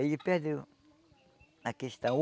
E aí ele perdeu a questão.